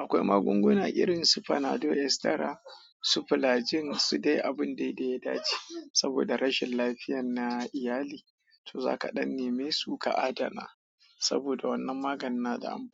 akwai magunguna irin su Panadol, Estera, Su plajin su dai abun daidai ya dace. Saboda rashin lafiyar na iyali, to za ka ɗan neme su ka adana saboda wannan maganin na anfani.